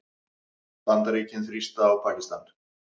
Bandaríkin þrýsta á Pakistan